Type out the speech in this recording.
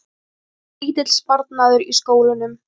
Lítill sparnaður í skólunum